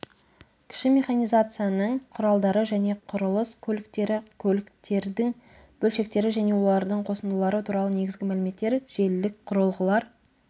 кіші механизацияның құралдары және құрылыс көліктері көліктердің бөлшектері және олардың қосындылары туралы негізгі мәліметтер желілік құрылғылар